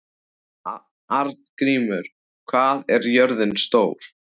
Arngrímur, hvað er jörðin stór?